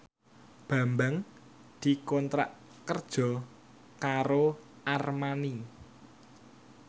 Bambang dikontrak kerja karo Armani